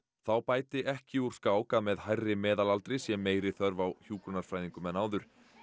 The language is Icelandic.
þá bæti ekki úr skák að með hærri meðalaldri sé meiri þörf á hjúkrunarfræðingum en áður